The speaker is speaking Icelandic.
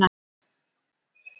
Ekki neitt, segi ég.